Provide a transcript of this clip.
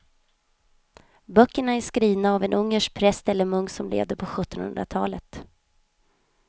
Böckerna är skrivna av en ungersk präst eller munk som levde på sjuttonhundratalet.